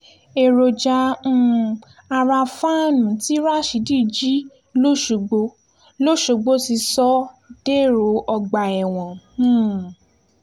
èròjà um ara fàánú tí rasheed jí lọ́sọ̀gbọ̀ lọ́sọ̀gbọ̀ ti sọ ọ́ dèrò ọgbà ẹ̀wọ̀n um